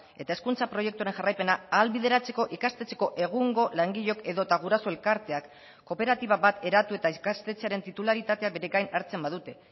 eta hezkuntza proiektuaren jarraipena ahalbideratzeko ikastetxeko egungo langileok edota guraso elkarteak kooperatiba bat eratu eta ikastetxearen titularitatea bere gain hartzen badute